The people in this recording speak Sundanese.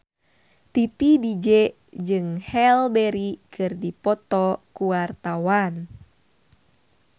Titi DJ jeung Halle Berry keur dipoto ku wartawan